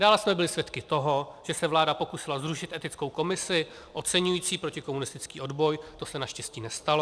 Dále jsme byli svědky toho, že se vláda pokusila zrušit etickou komisi oceňující protikomunistický odboj, to se naštěstí nestalo.